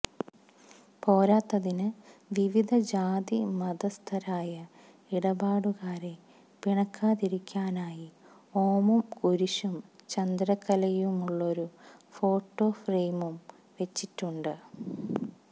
പോരാത്തതിന് വിവിധ ജാതി മതസ്ഥരായ ഇടപാടുകാരെ പിണക്കാതിരിക്കാനായി ഓമും കുരിശും ചന്ദ്രക്കലയുമുള്ളൊരു ഫോട്ടോഫ്രയിമും വെച്ചിട്ടുണ്ട്